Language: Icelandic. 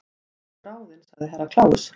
Þú ert ráðin sagði Herra Kláus.